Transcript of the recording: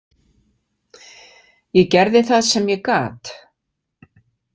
Ég gerði það sem ég gat.